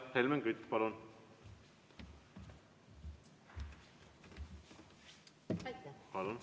Helmen Kütt, palun!